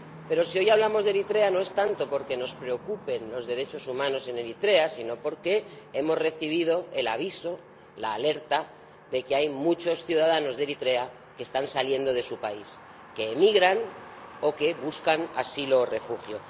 Pero si hoy hablamos de Eritrea no es tanto porque nos preocupen los derechos humanos en Eritrea, sino porque hemos recibido el aviso, la alerta de que hay muchos ciudadanos de Eritrea que están saliendo de su país, que emigran o que buscan asilo o refugio.